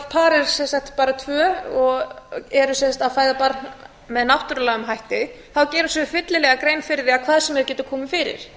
er sem sagt bara tvö og eru að fæða barn með náttúrulegum hætti þá gera þau sér fyllilega grein fyrir því að hvað sem er getur komið fyrir